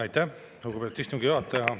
Aitäh, lugupeetud istungi juhataja!